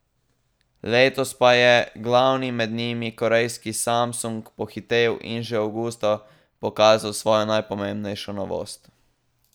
Letos pa je glavni med njimi, korejski Samsung, pohitel in že avgusta pokazal svojo najpomembnejšo novost.